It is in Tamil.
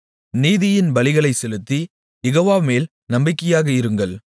நீதியின் பலிகளைச் செலுத்தி யெகோவாமேல் நம்பிக்கையாக இருங்கள்